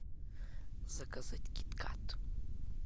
заказать киткат